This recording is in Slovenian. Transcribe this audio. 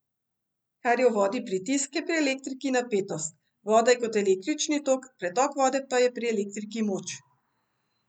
Kar je v vodi pritisk, je pri elektriki napetost, voda je kot električni tok, pretok vode pa je pri elektriki moč.